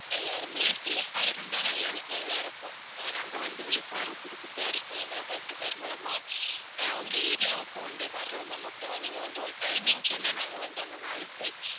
எல்லாருமே safe ஆ இருந்தா நல்லா நல்லா இருக்கும். அஹ் நாங்க வந்து விழிப்புணர்வு கொடுத்துட்டு தான் இருக்கோம் எங்க health care மூலமா. அஹ் உங்க area வுக்கும் one day வர்றோம் ma'am okay வா. நீங்க வந்து ஒரு timing சொன்னா நாங்க வந்து அந்த நாளுக்கு